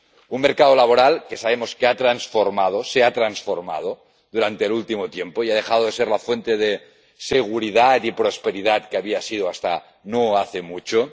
Un mercado laboral que sabemos que se ha transformado durante el último tiempo y ha dejado de ser la fuente de seguridad y prosperidad que había sido hasta no hace mucho.